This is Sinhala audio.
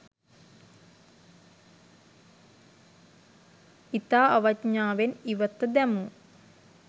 ඉතා අවඥාවෙන් ඉවත දැමූ